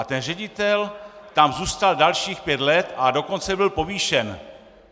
A ten ředitel tam zůstal dalších pět let, a dokonce byl povýšen.